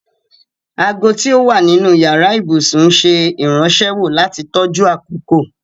Àagò ti ó wà nínu yara-íbusun ǹṣẹ irànṣéwọ̀ lati tọjú akókò.